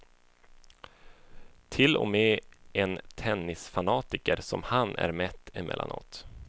Till och med en tennisfanatiker som han är mätt emellanåt.